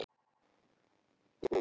Milla hristi höfuðið.